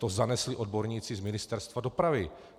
To zanesli odborníci z Ministerstva dopravy.